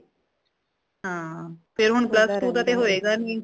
ਹਾਂ ਫੇਰ ਹੁਣ plus two ਦਾ ਤੇ ਹੋਏਗਾ ਨੀ